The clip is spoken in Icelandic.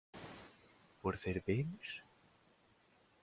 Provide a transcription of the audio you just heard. Voru þeir vinir?